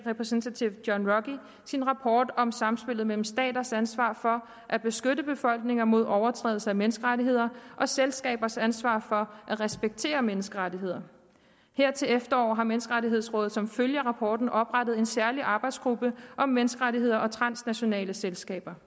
representative john ruggie sin rapport om samspillet mellem staters ansvar for at beskytte befolkninger mod overtrædelser af menneskerettigheder og selskabers ansvar for at respektere menneskerettigheder her til efteråret har menneskerettighedsrådet som følge af rapporten oprettet en særlig arbejdsgruppe om menneskerettigheder og transnationale selskaber